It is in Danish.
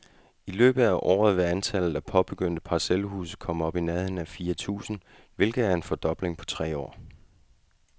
I løbet af året vil antallet af påbegyndte parcelhuse komme op i nærheden af fire tusind, hvilket er en fordobling på tre år.